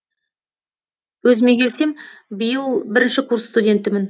өзіме келсем биыл бірінші курс студентімін